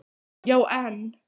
Já, en